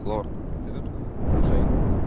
лорд ты тут слушай